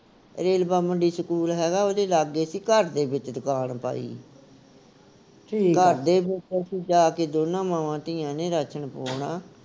ਰੇਲਵਾ ਮੰਡੀ ਸਕੂਲ ਹੈਗਾ ਉਹਦੇ ਲਾਗੇ ਸੀ ਘਰ ਦੇ ਵਿਚ ਦੁਕਾਨ ਪਾਈ ਘਰ ਦੇ ਵਿਚੋਂ ਅਸੀਂ ਜਾ ਕੇ ਦੋਨਾਂ ਮਾਵਾਂ ਧੀਆਂ ਨੇ ਰਾਸ਼ਨ ਪੁਆਉਣਾ